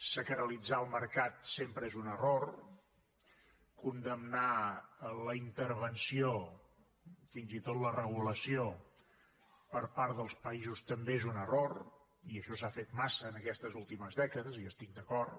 sacralitzar el mercat sempre és un error condemnar la intervenció fins i tot la regulació per part dels països també és un error i això s’ha fet massa aquestes últimes dècades hi estic d’acord